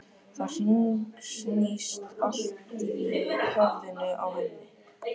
Það hringsnýst allt í höfðinu á henni.